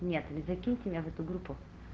нет закиньте меня в эту группу